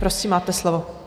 Prosím, máte slovo.